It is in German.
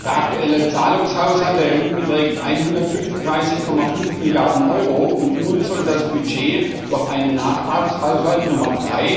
Der aktuelle Zahlungshaushalt der EU beträgt 135,5 Milliarden Euro, und nun soll das Budget durch einen Nachtragshaushalt Nr.